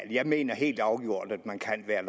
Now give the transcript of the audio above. jeg mener helt afgjort at man kan være